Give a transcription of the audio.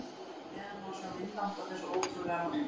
Hér að neðan má sjá myndband af þessu ótrúlega marki.